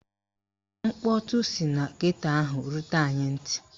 Mkpọtụ si na geto ahụ rutere anyị ntị